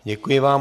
Děkuji vám.